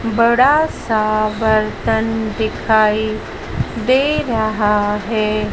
बड़ा सा बर्तन दिखाई दे रहा है।